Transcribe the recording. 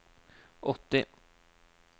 åtti